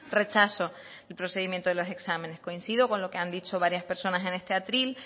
rechazo el procedimiento de los exámenes coincido con lo que han dicho varias personas en este atril